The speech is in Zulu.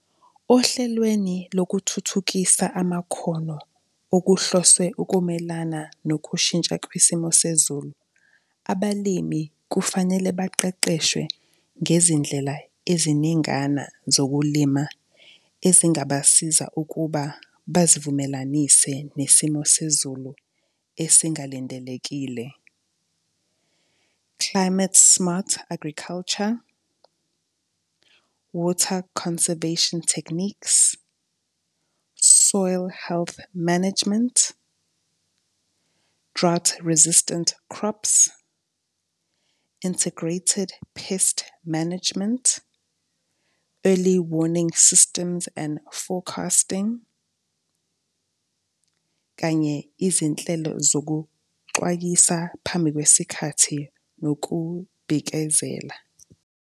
Ohlelweni lokuthuthukisa amakhono okuhlose ukumelana nokushintsha kwesimo sezulu, abalimi kufanele baqeqeshwe ngezindlela eziningana zokulima ezingabasiza ukuba bazivumelanise nesimo sezulu esingalindelekile. Climate smart agriculture, water conservation techniques, soil health management, drought resistant crops, integrated pest management, early warning systems and forecasting kanye izinhlelo zokuxwayisa phambi kwesikhathi nokubhikezela.